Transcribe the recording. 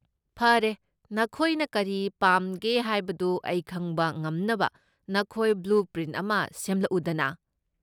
ꯐꯔꯦ, ꯅꯈꯣꯏꯅ ꯀꯔꯤ ꯄꯥꯝꯒꯦ ꯍꯥꯏꯕꯗꯨ ꯑꯩ ꯈꯪꯕ ꯉꯝꯅꯕ ꯅꯈꯣꯏ ꯕ꯭ꯂꯨꯄ꯭ꯔꯤꯟꯠ ꯑꯃ ꯁꯦꯝꯂꯛꯎꯗꯅꯥ꯫